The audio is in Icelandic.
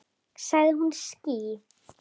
Sagði hún ský?